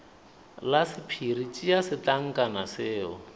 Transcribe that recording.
la sephiri tšea setlankana seo